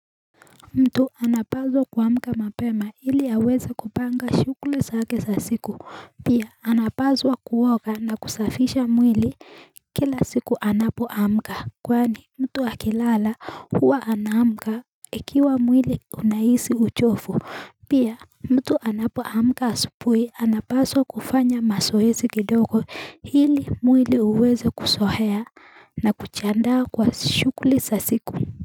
Mtu anapaswa kuamka mapema ili aweze kupanga shughuli zake za siku Pia anapaswa kuoga na kusafisha mwili kila siku anapoamka Kwani mtu akilala huwa anamka ikiwa mwili unahisi uchovu Pia mtu anapoamka asubuhi anapaswa kufanya mazoezi kidogo ili mwili uweze kuzoea na kujiandaa kwa shughuli za siku.